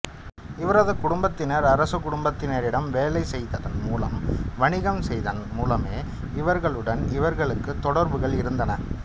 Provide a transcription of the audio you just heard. இவரது குடும்பத்தினர் அரச குடும்பத்தினரிடம் வேலை செய்ததன் மூலமும் வணிகம் செய்ததன் மூலமுமே அவர்களுடன் இவர்களுக்குத் தொடர்புகள் இருந்தன